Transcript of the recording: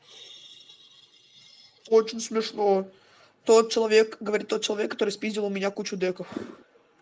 очень смешно тот человек говорит тот человек который спиздил у меня кучу деков